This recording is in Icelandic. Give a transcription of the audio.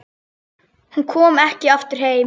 Hún kom ekki aftur heim.